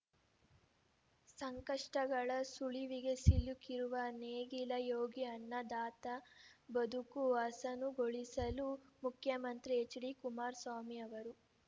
ಸಂಕಷ್ಟಗಳ ಸುಳಿವಿಗೆ ಸಿಲುಕಿರುವ ನೇಗಿಲ ಯೋಗಿ ಅನ್ನದಾತನ ಬದುಕು ಹಸನುಗೊಳಿಸಲು ಮುಖ್ಯಮಂತ್ರಿ ಹೆಚ್ಡಿ ಕುಮಾರಸ್ವಾಮಿ ಅವರು